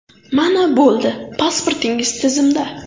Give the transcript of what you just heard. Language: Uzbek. Mana bo‘ldi, pasportingiz tizimda!